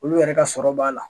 Olu yɛrɛ ka sɔrɔ b'a la.